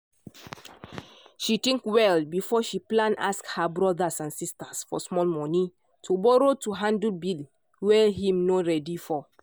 she think well before she plan ask her brothers and sisters for small money to borrow to handle bill wey him no ready for